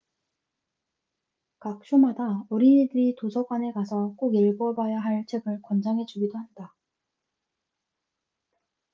각 쇼마다 어린이들이 도서관에 가서 꼭 읽어봐야 할 책을 권장해 주기도 한다